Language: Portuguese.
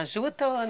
Na juta ou